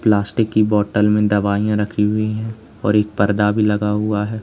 Plastic की bottle में दवाइयां रखी हुई है और एक पर्दा भी लगा हुआ है।